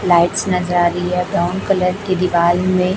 lights नजर आ रही है ब्राउन कलर की दीवार में